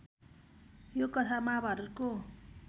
यो कथा महाभारतको